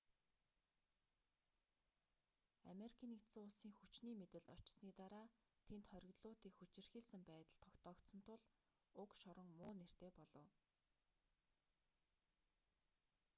ану-ын хүчний мэдэлд очсоны дараа тэнд хоригдлуудыг хүчирхийлсэн байдал тогтоогдсон тул уг шорон муу нэртэй болов